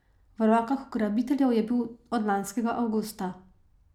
V rokah ugrabiteljev je bil od lanskega avgusta.